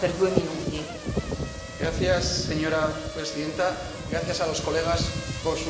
Señora Presidenta, gracias a los colegas por sus amables palabras.